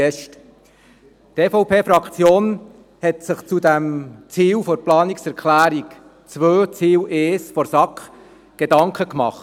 Die EVP-Fraktion hat sich zur Planungserklärung 2 der SAK zu Ziel 1 Gedanken gemacht.